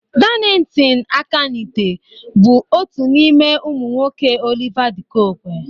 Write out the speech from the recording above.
Darlington Akanite bụ otu n'ime ụmụ nwoke Oliver de Coque